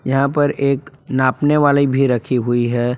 यहां पर एक नापने वाले भी रखी हुई है।